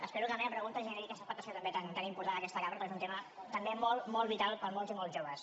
espero que la meva pregunta generi aquesta expectació també tan important en aquesta cambra perquè és un tema també molt vital per a molts i molts joves